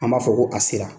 An b'a fɔ ko a sera